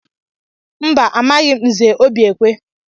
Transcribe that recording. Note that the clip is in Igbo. Mba, amaghị m Nze Obiekwe.